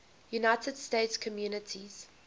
united states communities